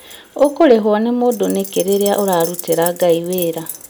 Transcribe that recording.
ũkũrĩhwo nĩ mũndũ nĩkĩ rĩrĩa ũrarutĩra Ngai wĩra